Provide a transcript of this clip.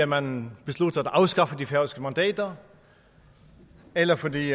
man beslutter at afskaffe de færøske mandater eller fordi